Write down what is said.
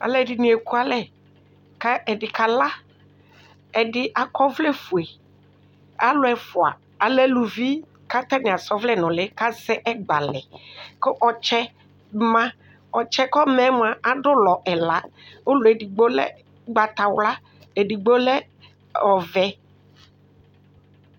Alʋɛdɩnɩ ekualɛ kʋ ɛdɩ kala Ɛdɩ akɔ ɔvlɛfue Alʋ ɛfʋa alɛ aluvi kʋ atanɩ asa ɔvlɛ nʋ ʋlɩ kʋ asɛ ɛgba lɛ kʋ ɔtsɛ ma Ɔtsɛ yɛ kʋ ɔma yɛ mʋa, adʋ ʋlɔ ɛla Ʋlɔ yɛ edigbo lɛ ʋgbatawla, ediggbo lɛ ɔvɛ